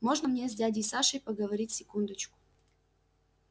можно мне с дядей сашей поговорить секундочку